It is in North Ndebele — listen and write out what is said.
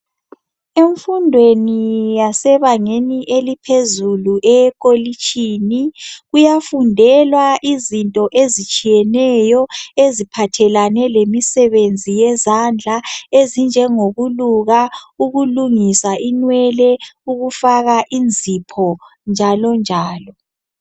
Emfundweni yasebangeni eliphezulu, eyekolitshini. Kuyafundelwa izinto ezitshiyeneyo eziphathelane lemisebenzi yezandla ezinjengokuluka, ukulungisa inwele, ukufaka inzipho, njalonjalo.